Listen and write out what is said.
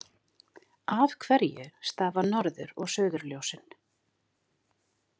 Af hverju stafa norður- og suðurljósin?